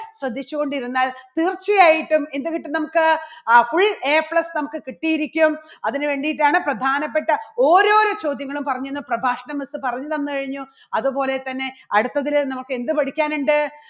ശ്രദ്ധിച്ചു കൊണ്ടിരുന്നാൽ തീർച്ച ആയിട്ടും എന്ത് കിട്ടും നമ്മുക്ക്? അഹ് fullAplus നമുക്ക് കിട്ടിയിരിക്കും. അതിനുവേണ്ടിയിട്ടാണ് പ്രധാനപ്പെട്ട ഓരോരോ ചോദ്യങ്ങളും പറഞ്ഞുതന്ന് പ്രഭാഷണം ഒക്കെ പറഞ്ഞു തന്നു കഴിഞ്ഞു അത് പോലെ തന്നെ അടുത്തതില് നമുക്ക് എന്ത് പഠിക്കാൻ ഉണ്ട്?